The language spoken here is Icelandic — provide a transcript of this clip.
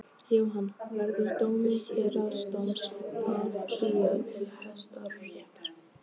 Jóhann: Verður dómi héraðsdóms áfrýjað til Hæstaréttar?